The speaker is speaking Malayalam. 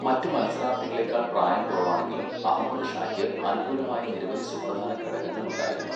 മറ്റ് മത്സരാർത്ഥികളേക്കാൾ പ്രായം കുറവാണെങ്കിലും, അഹമ്മദ് ഷായ്ക്ക് അനുകൂലമായ നിരവധി സുപ്രധാന ഘടകങ്ങൾ ഉണ്ടായിരുന്നു.